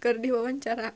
keur diwawancara